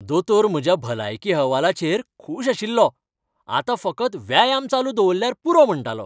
दोतोर म्हज्या भलायकी अहवालाचेर खूश आशिल्लो, आतां फकत व्यायाम चालू दवरल्यार पुरो म्हणटालो.